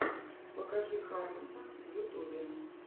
покажи харонса в ютубе